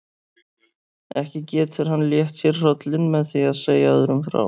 Ekki getur hann létt sér hrollinn með því að segja öðrum frá.